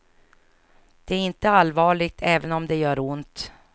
Det är inte allvarligt även om det gör ont.